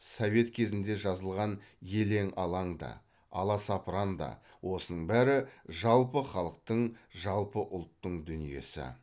совет кезінде жазылған елең алаң да аласапыран да осының бәрі жалпы халықтың жалпы ұлттың дүниесі